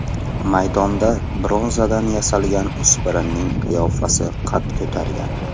Maydonda bronzadan yasalgan o‘spirinning qiyofasi qad ko‘targan.